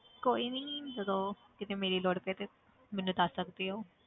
ਕੋਈ ਨੀ ਜਦੋਂ ਕਿਤੇ ਮੇਰੀ ਲੋੜ ਪਏ ਤੇ ਮੈਨੂੰ ਦੱਸ ਸਕਦੇ ਹੋ।